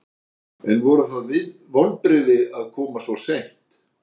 En voru það vonbrigði að koma svo seint?